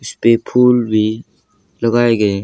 इसपे फूल भी लगाए गए--